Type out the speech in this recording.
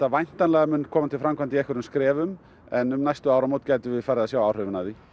væntanlega koma til framkvæmda í einhverjum skrefum en um næstu áramót gætum við farið að sjá áhrifin af því